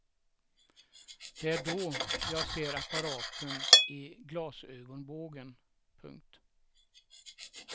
Det är då jag ser apparaten i glasögonbågen. punkt